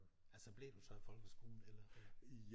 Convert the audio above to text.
Altså blev du så i folkeskolen eller?